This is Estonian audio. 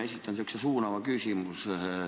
Ma esitan sellise suunava küsimuse.